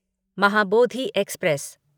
Mahabodhi express